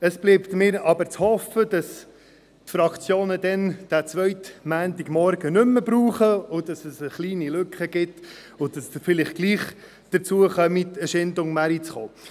Es bleibt mir aber zu hoffen, dass die Fraktionen den zweiten Montagmorgen nicht mehr benötigen werden, sodass es eine kleine Lücke gibt und Sie vielleicht gleichwohl dazu kommen, den Chaindon-Markt zu besuchen.